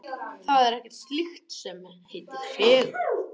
Það er ekkert slíkt til sem heitir fegurð.